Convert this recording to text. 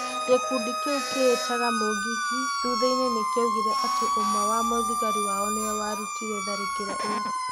Gĩkundi kĩu kĩĩtaga Mũũngiki thutha-inĩ nikĩugire atĩ ũmwe wa "muthigari wao" nĩwe warutĩre tharĩkĩro ĩyo.